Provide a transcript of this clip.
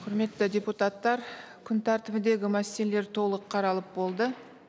құрметті депутаттар күн тәртібіндегі мәселелер толық қаралып болды